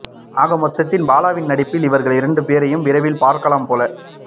ஆகமொத்தத்தில் பாலாவின் நடிப்பில் இவர்கள் இரண்டு போரையும் விரைவில் பார்க்கலாம் போல